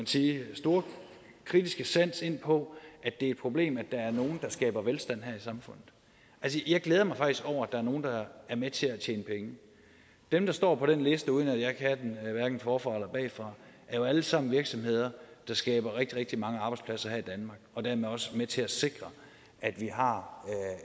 sin store kritiske sans ind på at det er et problem at der er nogle der skaber velstand her i samfundet jeg glæder mig faktisk over at der er nogle der er med til at tjene penge dem der står på den liste uden at jeg kan den hverken forfra eller bagfra er jo alle sammen virksomheder der skaber rigtig rigtig mange arbejdspladser her i danmark og dermed også er med til at sikre at vi har